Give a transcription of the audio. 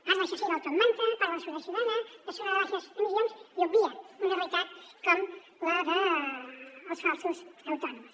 parla això sí del top manta parla de seguretat ciutadana de la zona de baixes emissions i obvia una realitat com la dels falsos autònoms